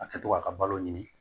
A kɛ to ka balo ɲini